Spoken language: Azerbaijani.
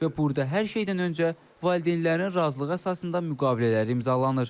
Və burda hər şeydən öncə valideynlərin razılığı əsasında müqavilələr imzalanır.